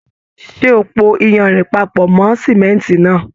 Ṣe o pò iyanrìn papọ mọ sánmọ́ntì náà?